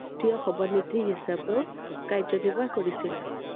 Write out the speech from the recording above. ৰাষ্ট্ৰীয় সভানেত্ৰী হিচাপেও কাৰ্য্য়নিৰ্বাহ কৰিছিল I